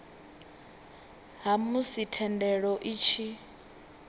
ha musi thendelo i tshi